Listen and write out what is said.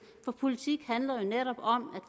for politik handler netop om